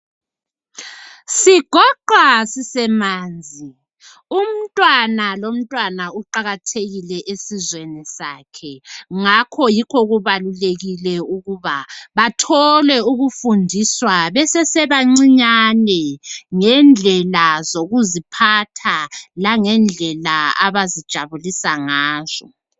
Sigoqwa sisemanzi, umntwana lomntwana uqakathekile esizweni sakhe, ngakho yikho kubalulekile ukuba bathole ukufundiswa besesebancinyane ngendlela zokuziphatha langendlela abazijabulisa ngazo.